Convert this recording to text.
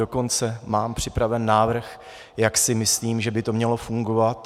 Dokonce mám připraven návrh, jak si myslím, že by to mělo fungovat.